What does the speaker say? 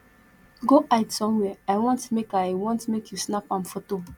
go hide somewhere i want make i want make you snap am photo